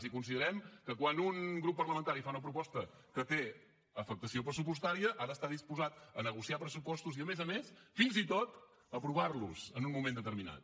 i considerem que quan un grup parlamentari fa una proposta que té afectació pressupostària ha d’estar disposat a negociar pressupostos i a més a més fins i tot a aprovar los en un moment determinat